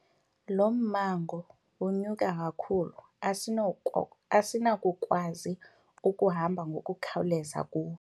Lo mmango unyuka kakhulu asinakukwazi ukuhamba ngokukhawuleza kuwo.